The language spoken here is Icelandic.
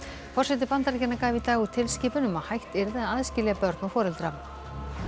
forseti Bandaríkjanna gaf í dag út tilskipun um að hætt yrði að aðskilja börn og foreldra